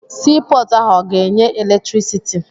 Sii pọọtụ ahụ ọ ga-enye eletirisiti.